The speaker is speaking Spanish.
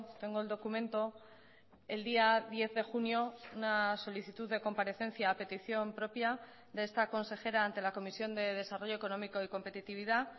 tengo el documento el día diez de junio una solicitud de comparecencia a petición propia de esta consejera ante la comisión de desarrollo económico y competitividad